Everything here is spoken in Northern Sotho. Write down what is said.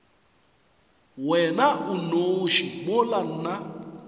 wena o nnoši mola nna